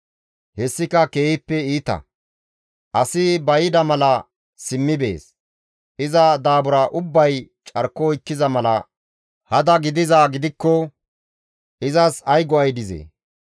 Hessika keehippe iita; asi ba yida mala simmi bees; iza daabura ubbay carko oykkiza mala hada gidizaa gidikko izas ay go7ay dizee?